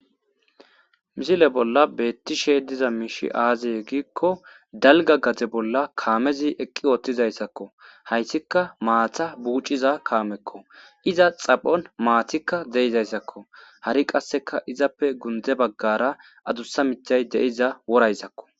misile bolla beettishe diza miishi aazey gikko dalga gade bolla kaamezi eqqi oottizayssakko hayssika maatha buuciza kaamekko iza xaphon maatikka deizayssakko hari qasseka izappe gunde baggara adussa mithay deiza worayssakko